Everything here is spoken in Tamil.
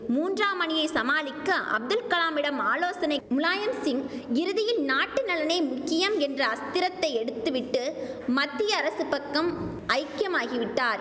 மூன்றாம் அணியை சமாளிக்க அப்துல் கலாமிடம் ஆலோசனை முலாயம்சிங் இறுதியில் நாட்டு நலனே முக்கியம் என்ற அஸ்திரத்தை எடுத்து விட்டு மத்திய அரசு பக்கம் ஐக்கியமாகி விட்டார்